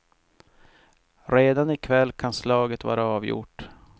Redan i kväll kan slaget vara avgjort.